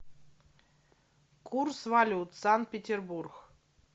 курс валют санкт петербург